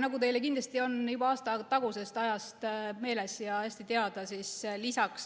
Nagu teile kindlasti on juba aasta tagusest ajast meelde jäänud ja hästi teada,